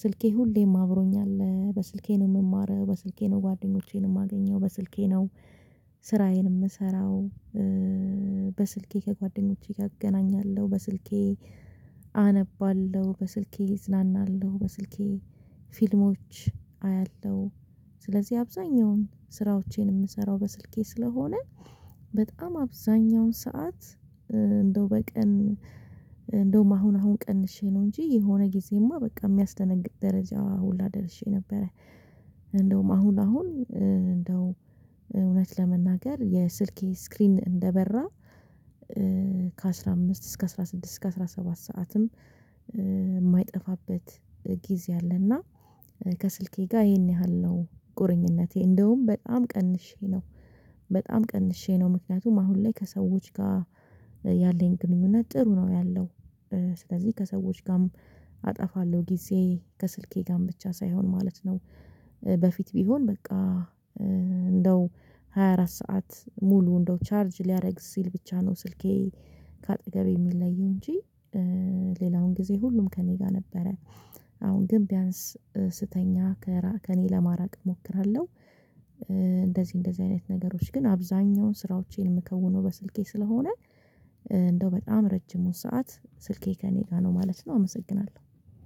ስልኬ ሁሌም አብሮኛል አለ በስልኬ ነው የምማረው፣ በስልኬ ነው ጓደኞቼን የማገኘው፣ በስልኬ ነው ስራዬን የምሰራው፣ በስልኬ ከጓደኞቼ እገናኛለሁ፣ በስልኬ አነባለሁ፣ በስልኬ እዝናናለሁ፣ በስልኬ ፊልሞች አያለሁ፣ ስለዚህ አብዛኛውን ስራዎቼን የምሰራው በስልኬ ስለሆነ በጣም አብዛኛውን ሰዓት እንደው በቀን እንደውም አሁን አሁን ቀንሼ ነው እንጂ የሆነ ጊዜማ በቃ የሚያስደነግጥ ደረጃ ሁላ ደርሼ ነበረ። እንደውም አሁን አሁን እንደው እውነት ለመናገር የስልኬ ስክሪን እንደበራ ከአሥራ አምስት እስከ አስራ ስድስት ስድስት እስከ አስራ ሰባት ሰዓትም የማይጠፋበት ጊዜ አለና ከስልኬ ጋር ይሄን ያህል ነው ቁርኝነቴ እንደውም በጣም ቀንሼ ነው በጣም ቀንሼ ነው ምክንያቱም አሁን ላይ ከሰዎች ጋር ያለኝ ግንኙነት ጥሩ ነው ያለው ስለዚህ ከሰዎች ጋርም አጠፋለሁ ጊዜ ከስልኬ ጋር ብቻ ሳይሆን ማለት ነው። በፊት ቢሆን በቃ እንደው ሃያ አራት ሰዓት ሙሉ እንደው ቻርጅ ሊያደርግ ሲል ብቻ ነው ስልኬ ከአጠገቤ የሚለየው እንጂ ሌላውን ጊዜ ሁሉም ከእኔ ጋር ነበረ አሁን ግን ቢያንስ ስተኛ ከራ ከኔ ለማራቅ እሞክራለሁ እንደዚህ እንደዚህ አይነት ነገሮች ግን አብዛኛውን ስራዎቼን የምከውነው በስልኬ ስለሆነ እንደው በጣም ረጅሙን ሰዓት ስልኬ ከእኔ ጋር ነው ማለት ነው አመሰግናለሁ።